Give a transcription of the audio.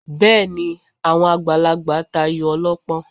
Bẹ́ẹ̀ ni, àwọn àgbàlagbà tayò ọlọ́pọ́n